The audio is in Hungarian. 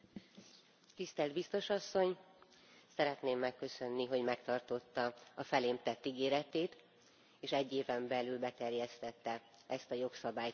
Tisztelt Biztos Asszony, szeretném megköszönni, hogy megtartotta a felém tett ígéretét, és egy éven belül beterjesztette ezt a jogszabálycsomagot.